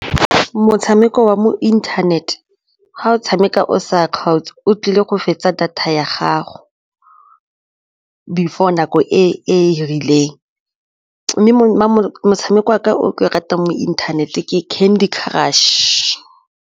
Motshameko wa mo inthanete ga o tshameka o sa kgaotse o tlile go fetsa data ya gago before nako e e rileng mme motshameko o ke ratang mo inthanete ke Candy Crush.